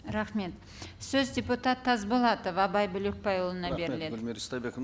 рахмет сөз депутат тасболатов абай бөлекбайұлына беріледі рахмет гульмира истайбековна